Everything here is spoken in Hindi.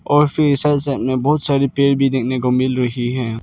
और फिर ऐसा डिजाइन मे बहुत सारे पेड़ भी देखने को मिल रही हैं।